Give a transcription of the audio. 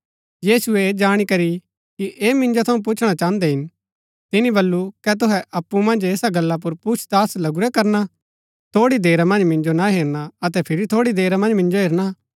यीशुऐ ऐह जाणी करी कि ऐह मिन्जो थऊँ पुच्छणा चाहन्दै हिन तिनी बल्लू कै तुहै अप्पु मन्ज ऐसा गल्ला पुर पुछताछ लगूरै करणा कि थोड़ी देरा मन्ज मिन्जो ना हेरणा अतै फिरी थोड़ी देरा मन्ज मिन्जो हेरणा